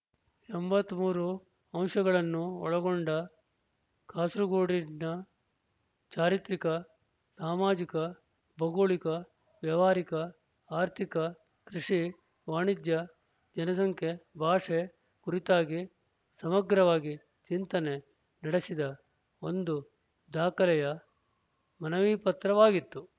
ಎಂಬತ್ತ್ ಮೂರು ಅಂಶಗಳನ್ನು ಒಳಗೊಂಡ ಕಾಸರಗೋಡಿನ ಚಾರಿತ್ರಿಕ ಸಾಮಾಜಿಕ ಭೌಗೋಳಿಕ ವ್ಯಾವಹಾರಿಕ ಆರ್ಥಿಕ ಕೃಷಿ ವಾಣಿಜ್ಯ ಜನಸಂಖ್ಯೆ ಭಾಷೆ ಕುರಿತಾಗಿ ಸಮಗ್ರವಾಗಿ ಚಿಂತನೆ ನಡೆಸಿದ ಒಂದು ದಾಖಲೆಯ ಮನವಿಪತ್ರವಾಗಿತ್ತು